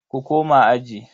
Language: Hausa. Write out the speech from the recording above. Ku koma aji.